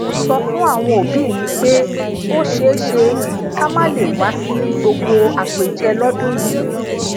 mo sọ fún àwọn òbí mi pé ó ṣeéṣe ká má lè wá sí gbogbo àpèjẹ lódún yìí